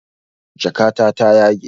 Jakata ta yage